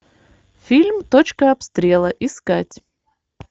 фильм точка обстрела искать